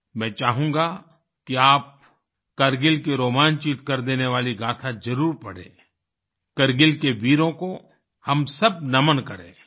मैं चाहूँगा कि आप कारगिल की रोमांचित कर देने वाली गाथा जरुर पढ़ें कारगिल के वीरों को हम सब नमन करें